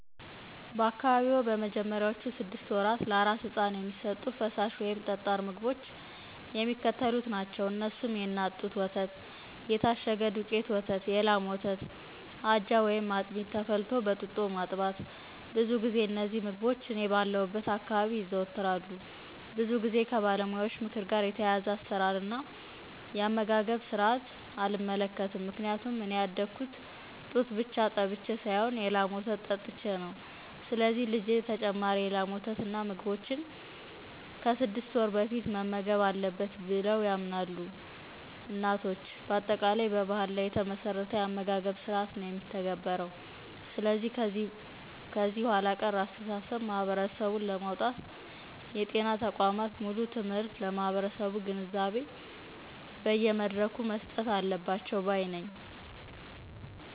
በአካባቢዎ በመጀመሪያዎቹ ስድስት ወራት ለአራስ ሕፃን የሚሰጡት ፈሳሽ ወይም ጠጣር ምግቦች የሚከተሉት ናቸው። እነሱም :- የእናት ጡት ወተት, የታሸገ የዱቄት ወተት, የላም ወተት, አጃ/አጥሚት/ተፈልቶ በጡጦ ማጥባት , ብዙ ጊዜ እነዚህ ምግቦች እኔ ባለሁበት አካባቢ ይዘወተራሉ። ብዙ ጊዜ ከባለሙያዎች ምክር ጋር የተያያዘ አሰራር እና የአመጋገብ ስርአት አልመለከትም። ምክንያቱም እኔ ያደግኩት ጡት ብቻ ጠብቸ ሳይሆን የላም ወተት ጠጥቸ ነው ስለዚህ ልጀ ተጨማሪ የላም ወተት እና ምግቦችን ከ06 ወር በፊት መመገብ አለበት ብለው ያምናሉ እናቶች። በአጠቃላይ በባህል ላይ የተመሠረተ የአመጋገብ ስርአት ነው የሚተገበረው። ስለዚህ ከዚህ ኋላ ቀር አስተሳሰብ ማህበረሰቡን ለማውጣት የጤና ተቋማት ሙሉ ትምህርት ለማህበረሠቡ ግንዛቤ በየ መድረኩ መስጠት አለባቸው ባይ ነኝ።